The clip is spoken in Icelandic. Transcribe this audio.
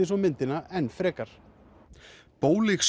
myndina enn frekar